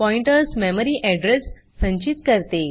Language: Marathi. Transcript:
पॉइंटर्स मेमरी एड्रेस संचित करते